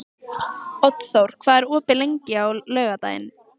Oddþór, hvað er opið lengi á laugardaginn?